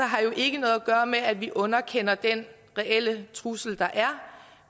har jo ikke noget at gøre med at vi underkender den reelle trussel der er